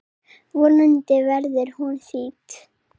Vonandi verður hún þýdd.